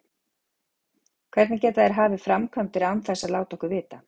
Hvernig geta þeir hafið framkvæmdir án þess að láta okkur vita?